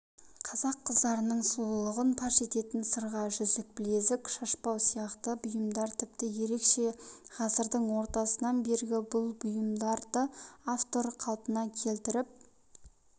қазақ қыздарының сұлулығын паш ететін сырға жүзік білезік шашбау сияқты бұйымдар тіпті ерекше ғасырдың ортасынан бергі бұл бұйымдарды автор қалпына келтіріп